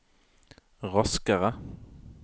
raskere